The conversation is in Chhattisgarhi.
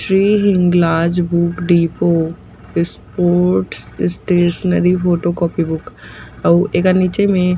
book depot sports stationery photocopy book अउ एकर निचे में--